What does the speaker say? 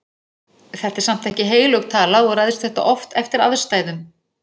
Þetta er samt ekki heilög tala og ræðst þetta oft eftir aðstæðum.